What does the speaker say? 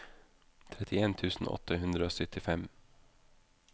trettien tusen åtte hundre og syttifem